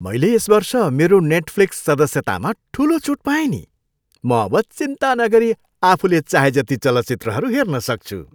मैले यस वर्ष मेरो नेटफ्लिक्स सदस्यतामा ठुलो छुट पाएँ नि। म अब चिन्ता नगरी आफूले चाहेजति चलचित्रहरू हेर्न सक्छु।